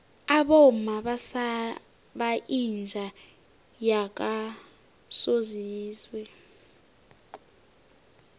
abomma basaba inja yakosizwe